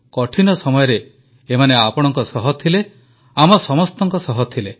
କଠିନ ସମୟରେ ଏମାନେ ଆପଣଙ୍କ ସହ ଥିଲେ ଆମ ସମସ୍ତଙ୍କ ସହ ଥିଲେ